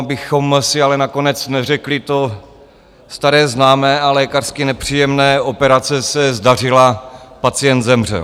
Abychom si ale nakonec neřekli to staré známé a lékařsky nepříjemné - operace se zdařila, pacient zemřel.